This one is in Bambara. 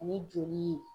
Ani joli